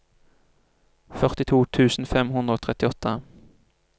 førtito tusen fem hundre og trettiåtte